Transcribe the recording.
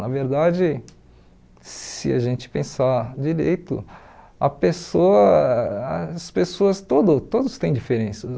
Na verdade, se a gente pensar direito, a pessoa as pessoas todo todas têm diferenças.